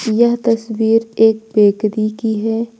यह तस्वीर एक बेकरी की है।